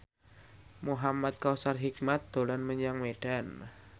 Muhamad Kautsar Hikmat dolan menyang Medan